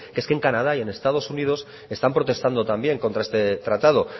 que es que en canadá y en estados unidos están protestando también contra este tratado